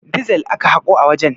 Dizel aka haƙo a wajen.